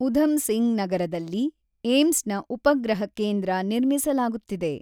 ಉಧಮ್ ಸಿಂಗ್ ನಗರದಲ್ಲಿ ಏಮ್ಸ್ನ ಉಪಗ್ರಹ ಕೇಂದ್ರ ನಿರ್ಮಿಸಲಾಗುತ್ತಿದೆ.